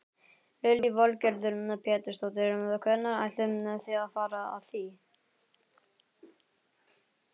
Lillý Valgerður Pétursdóttir: Hvernig ætlið þið að fara að því?